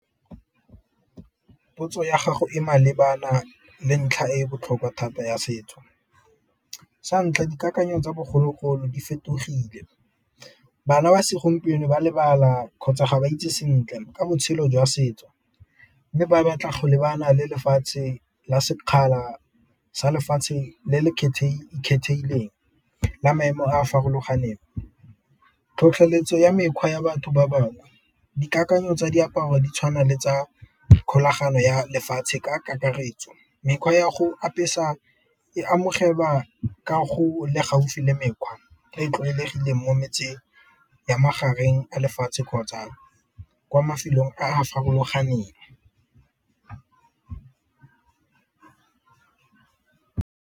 Potso ya gago e malebana le ntlha e botlhokwa thata ya setso. Sa ntlha dikakanyo tsa bogologolo di fetogile, bana ba segompieno ba lebala kgotsa ga ba itse sentle ka botshelo jwa setso, mme ba batla lebana le lefatshe la sekgala sa lefatshe le le kgethehileng la maemo a a farologaneng. Tlhotlheletso ya mekgwa ya batho ba bangwe dikakanyo tsa diaparo di tshwana le tsa kgolagano ya lefatshe ka kakaretso, mekgwa ya go apesa e amogelwa ke go le gaufi le mekgwa e e tlwaelegileng mo metseng ya magareng a lefatshe kgotsa kwa mafelong a farologaneng.